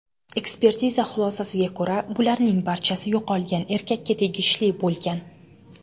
Ekspertiza xulosasiga ko‘ra, bularning barchasi yo‘qolgan erkakka tegishli bo‘lgan.